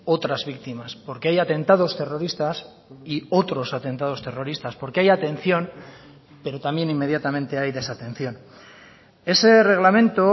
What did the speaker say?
otras víctimas porque hay atentados terroristas y otros atentados terroristas porque hay atención pero también inmediatamente hay desatención ese reglamento